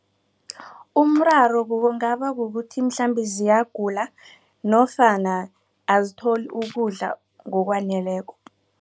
Umraro kungaba kukuthi mhlambe ziyagula nofana azitholi ukudla ngokwaneleko.